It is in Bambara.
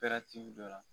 dɔ la